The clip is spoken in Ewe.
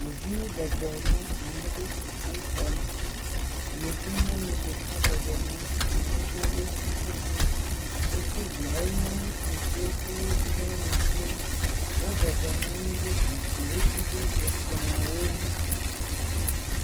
Ɖeviwo bɔbɔnɔ anyi ɖe sukuxɔme. Yevunyɔnu ɖeka bɔbɔna anyi ɖe wo titina. Sukuviawo nye ŋutsuviwo kple nyɔnuviwo. Wo bɔbɔnɔ anyi ɖe zikpuiwo dzi ɖe ekplɔwo ŋu.